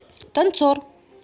танцор